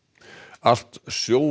allt